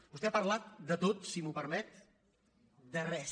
vostè ha parlat de tot si m’ho permet de res